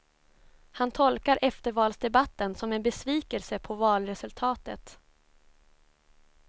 Han tolkar eftervalsdebatten som en besvikelse på valresultatet.